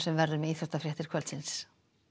verður með í íþróttafréttum kvöldsins